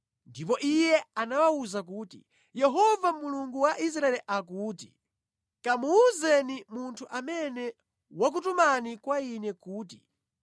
Ndipo iye anawawuza kuti, “Yehova Mulungu wa Israeli akuti: Kamuwuzeni munthu amene wakutumani kwa ine kuti,